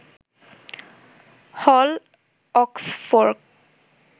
হল অক্সফোর্ফ